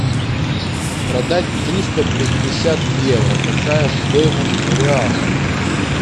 продать триста пятьдесят евро какая стоимость в реалах